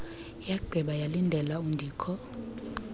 yagqiba yalindela undikho